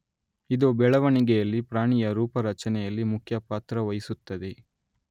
ಇದು ಬೆಳೆವಣಿಗೆಯಲ್ಲಿ ಪ್ರಾಣಿಯ ರೂಪ ರಚನೆಯಲ್ಲಿ ಮುಖ್ಯ ಪಾತ್ರ ವಹಿಸುತ್ತದೆ